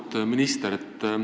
Auväärt minister!